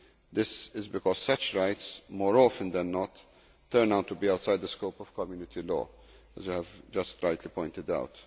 This is because such rights, more often than not, turn out to be outside the scope of Community law, as you have just rightly pointed out.